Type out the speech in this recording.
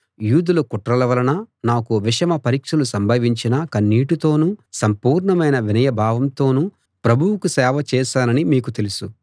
యూదుల కుట్రల వలన నాకు విషమ పరీక్షలు సంభవించినా కన్నీటితోనూ సంపూర్ణమైన వినయభావంతోనూ ప్రభువుకు సేవ చేశానని మీకు తెలుసు